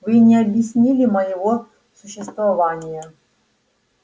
вы не объяснили моего существования